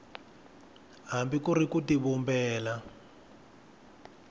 hambi ku ri ku tivumbela